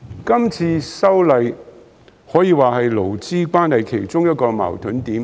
今次的修例可說是勞資關係其中一個矛盾點。